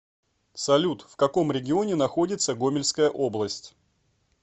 салют в каком регионе находится гомельская область